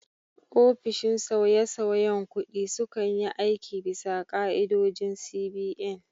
Ofishin sauyesauyen kuɗi sukan yi aiki bisa ka'idodin CBN.